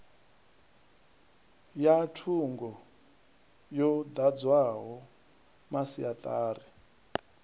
ya thungo yo dadziwaho masiatari